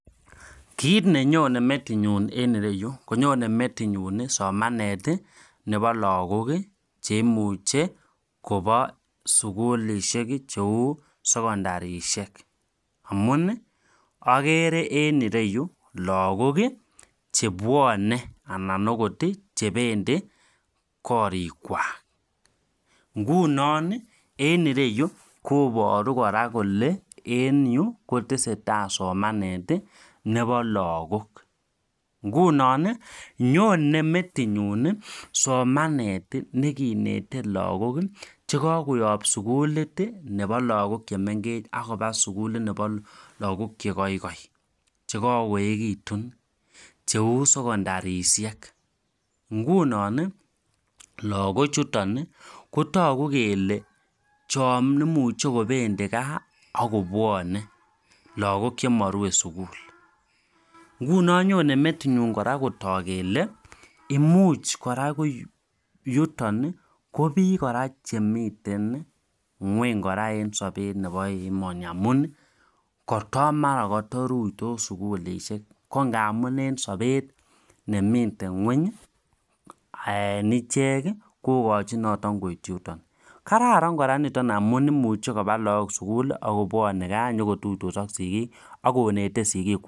Kiit nenyone metinyinun en ireyu konyone metinyun somanet nebo lagok cheimuche kobo sugulisiek cheu sekondarisiek, amun ogere en ireyu lagok chebwone anan okot chebendi korikwak, ngunon en ireyu kobaru kole en yu kotseteai somanet nebo lagok, ngunon ii nyone metinyun somanet nekinete lagok chekakoyob sugulit ii nebo lagok chemengech akoba sugulit nebo lagok chegoigoi chekagoegit cheu sekondarisiek, ngunon lagochuton kotogu kele chon imuche kobendi gaa ak kobwone, lagok chemorue sugul, ngunon nyone metinyuun kotok kele imuch kora ko yuton ko biik kora chemiten nyweny kora en sobeet nebo emoni amun kotomara kotoruitos sugulisiek ko ngamun en sobeet nemiten nyweny en ichek kogochin noton koityi yuton, kararan kora niton amun imuche kobaa lagok sugul ak kobwone gaa nyogotuitos ak sigik ak konete sigikwak.